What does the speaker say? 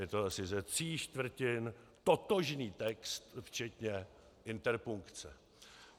Je to asi ze tří čtvrtin totožný text včetně interpunkce.